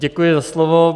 Děkuji za slovo.